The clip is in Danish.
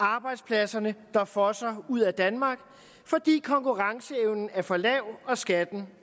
arbejdspladserne der fosser ud af danmark fordi konkurrenceevnen er for lav og skatten